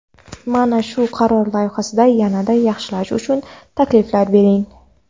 Mana shu qaror loyihasini yana-da yaxshilash uchun takliflar bering.